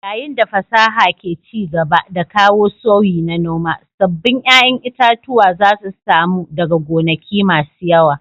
Yayin da fasaha ke ci gaba da kawo sauyi na noma, sabbin ƴaƴan itatuwa zasu samu daga gonaki masu yawa